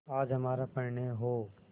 आज हमारा परिणय हो